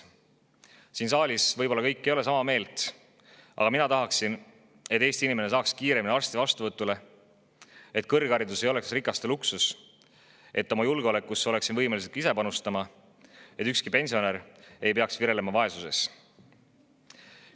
Kõik siin saalis ei ole võib-olla sama meelt, aga mina tahaksin, et Eesti inimene saaks kiiremini arsti vastuvõtule, et kõrgharidus ei oleks rikaste luksus, et oma julgeolekusse oleksime võimelised ka ise panustama, et ükski pensionär ei peaks virelema vaesuses.